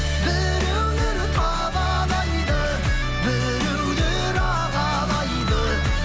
біреулер табалайды біреулер алалайды